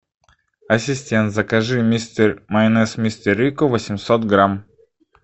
ассистент закажи майонез мистер рикко восемьсот грамм